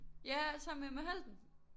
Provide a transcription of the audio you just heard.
Ja sammen med Emma Holten!